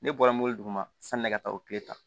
Ne bɔra mori duman sanni ne ka taa o tile ta